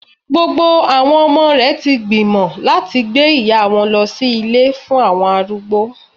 Gbogbo àwọn ọmọ rè ti gbìmọ̀ láti gbé ìyá wọn lọ sí Ilé fún àwọn arúgbó